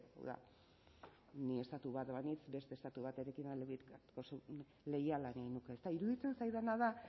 hau da ni estatu bat banintz beste estatu batekin aldebikotasuna leiala egingo nuke ezta iruditzen zaidana da